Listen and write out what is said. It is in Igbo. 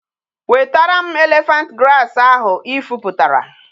Wetara m elephant grass ahu i fuputara!